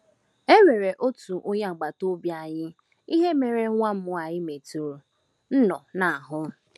E nwere otu onye agbata obi anyị ihe mere nwam nwanyị metụrụ nnọọ n’ahụ́.